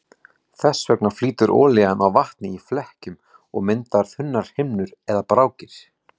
Þess vegna flýtur olían á vatni í flekkjum og myndar þunnar himnur eða brákir.